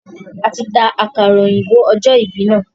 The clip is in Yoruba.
A tí ta àkàrà òyìnbó ọjọ ìbí na.